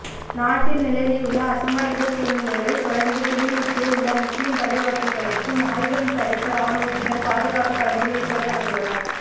நாட்டில் நிலவியுள்ள அசம்பாவித சூழ்நிலைகளை தொடர்ந்து கிளிநொச்சியில் உள்ள முஸ்லீம் பள்ளிவாசல்களுக்கும் ஆயுதம் தரித்த இராணுவத்தினர் பாதுகாப்பு கடமையில் ஈடுபடுத்தப்பட்டுள்ளனர்